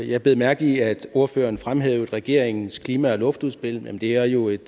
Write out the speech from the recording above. jeg bed mærke i at ordføreren fremhævede regeringens klima og luftudspil men det er jo et